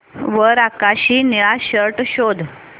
वर आकाशी निळा शर्ट शोध